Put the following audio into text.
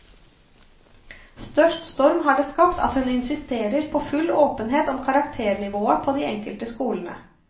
Størst storm har det skapt at hun insisterer på full åpenhet om karakternivået på de enkelte skolene.